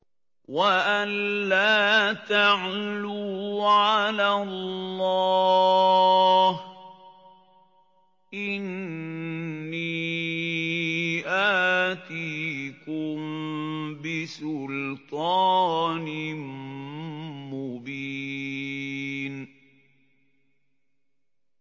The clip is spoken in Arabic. وَأَن لَّا تَعْلُوا عَلَى اللَّهِ ۖ إِنِّي آتِيكُم بِسُلْطَانٍ مُّبِينٍ